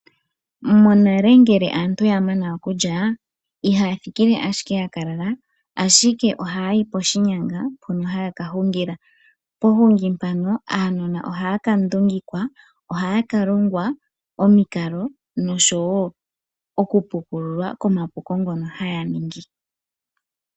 Monale ngele aantu yamana okulya ihaya thikile ashike yaka lala ashike ohaya yi poshinyanga mpono ha yaka hungila. Pohungi mpono aanona oha yaka ndungikwa, oha yaka longwa omikalo noshowo oku pukululwa komapuko ngono haya ningi.